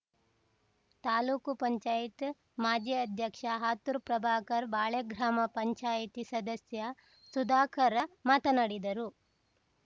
ತಾಲೂಕು ಪಂಚಾಯಿತಿ ಮಾಜಿ ಅಧ್ಯಕ್ಷ ಹಾತೂರು ಪ್ರಭಾಕರ್‌ ಬಾಳೆಗ್ರಾಮ ಪಂಚಾಯಿತಿ ಸದಸ್ಯ ಸುಧಾಕರ ಮಾತನಾಡಿದರು